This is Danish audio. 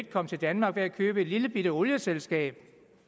kom til danmark ved at købe et lillebitte olieselskab